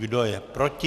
Kdo je proti?